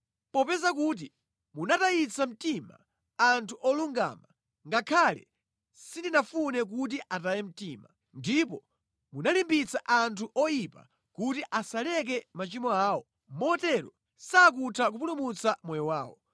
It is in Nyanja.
Popeza kuti munatayitsa mtima anthu olungama ngakhale sindinafune kuti ataye mtima; ndipo munalimbitsa anthu oyipa kuti asaleka machimo awo motero sakutha kupulumutsa moyo wawo,